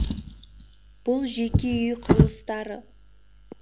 бұл жеке үй құрылыстары